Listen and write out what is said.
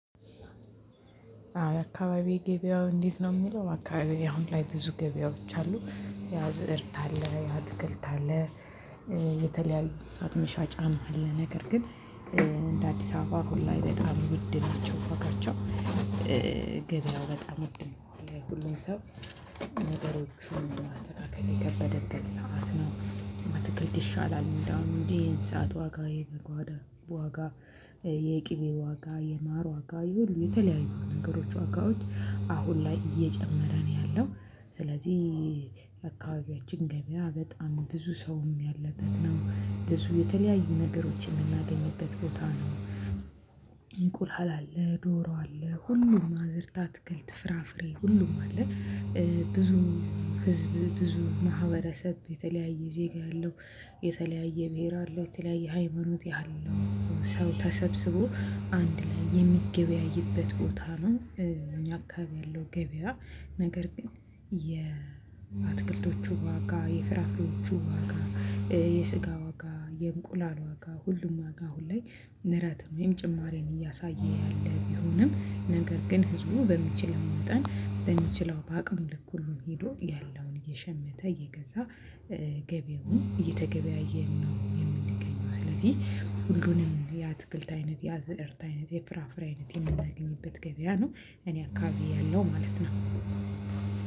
አካባቢ ገበያው እንዴት ነው የሚለው? አካባቢ አሁን ላይ ብዙ ገበያዎች አሉ። ያዝእርት የአትክልት የተለያዩ እንስሳት መሻጫ አለ። ነገር ግን እንደ አዲስ አበባ ሁሉ በጣም ውድ ናቸው። ዋጋቸው ገበያው በጣም ውድ ነው። ለሁሉም ሰው ነገሮችን ማስተካከል የከበደበት ሰዓት ነው። አትክልት ይሻላል እንደውም እንደ እንስሳት ዋጋ የግብር ዋጋ። የቅቤ ዋጋ የማር ዋጋ የሁሉ የተለያዩ ነገሮች ዋጋዎች አሁን ላይ እየጨመረ ነው ያለው። ስለዚህ አካባቢያችን ገበያ በጣም ብዙ ሰው ያለበት ነው። ብዙ የተለያዩ ነገሮችን የምናገኝበት ቦታ ነው። እንቁላል አለ ዶሮ አለ ሁሉም አዝርት አትክልት ፍራፍሬ ሁሉም አለ። ብዙ ህዝብ ብዙ ማህበረሰብ የተለያየ ዜጋ ያለው። የተለያየ ብሄር አለው የተለያየ ሃይማኖት ያህል ሰው ተሰብስቦ አንድ ላይ የሚገበያይበት ቦታ ነው። እኛ አካባቢ ያለው ገበያ። ነገር ግን የአትክልቶቹ ዋጋ የፍራፍሬዎቹ ዋጋ የስጋ ዋጋ የእንቁላል ዋጋ ሁሉም ዋጋ ሁሌ ንረት ወይም ጭማሪን እያሳየ ያለ ቢሆንም ነገር ግን ህዝቡ በሚችል መጠን በሚችለው በአቅም ልክ ሁሉን ሄዶ ያለውን የሸመተ ይገዛል። ገበያውን እየተገበያየን ነው የምንገኘው። ስለዚህ ሁሉንም የአትክልት አይነት የአዝእርት አይነት የፍራፍሬ አይነት የምናገኝበት ገበያ ነው። እኔ አካባቢ ያለው ማለት ነው።